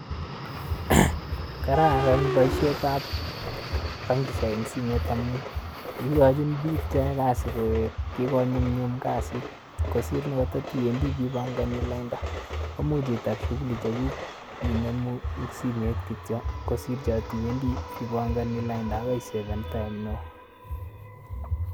Kararan boisietab bankisiek eng simet amun ikochini biik cheyoe kasiit, kikonyumnyum kasiit kosiir nekatitiwendi ipankani lainda komuch itaar shughuli chekuk inemi eng simet kityo kosiir tiwendi ipankani lainda akaisefen time neo.